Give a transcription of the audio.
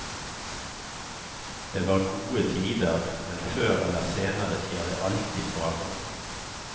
Det var gode tider, men før eller senere skjer det alltid forandring.